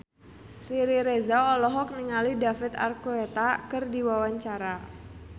Riri Reza olohok ningali David Archuletta keur diwawancara